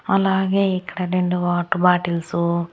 అలాగే ఇక్కడ రెండు వాటర్ బాటిల్సు .